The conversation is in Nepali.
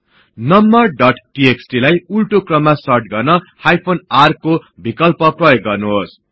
नम्बर डोट टीएक्सटी लाई उल्टो क्रममा सर्ट गर्न हाइफेन r को विकल्प प्रयोग गर्नुहोस्